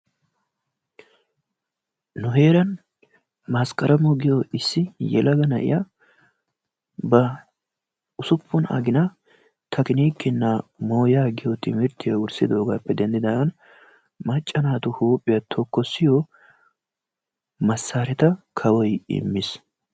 Nu heeraan maskaramo giyo issi yelaga na'iya ba ussuppun agina tekinikina mooyaa giyo timirttiyo wurssidogaappe denddidaagan macca naatu huphphiya tokkossiyo masaaretta kawoy immis.